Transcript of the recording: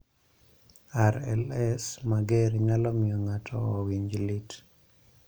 RLS mager nyalo miyo ng�ato owinjo lit.